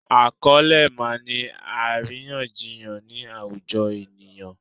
A kò lè máà ńi àríyànjiyàn ni àwùjọ ènìyàn.